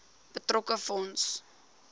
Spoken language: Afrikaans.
betrokke fonds